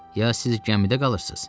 Ya siz gəmidə qalırsız.